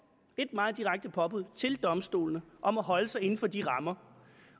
meget direkte påbud til domstolene om at holde sig inden for de rammer